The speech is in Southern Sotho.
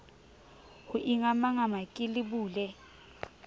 ho ingamangama ke le bule